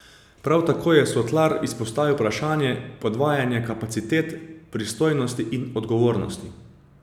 Prav tako je Sotlar izpostavil vprašanje podvajanja kapacitet, pristojnosti in odgovornosti.